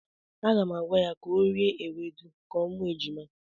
Aga m agwa ya ka o rie ewedu ka ọ mụọ ejima.